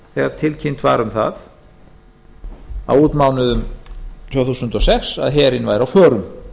þegar tilkynnt var um það á útmánuðum tvö þúsund og sex að herinn væri á förum